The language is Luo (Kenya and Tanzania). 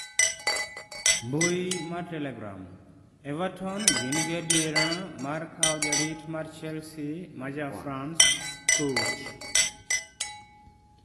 (Mbui mar Telegram) Everton gin gi adiera mar kawo jarit mar chelsea ma ja france Kurt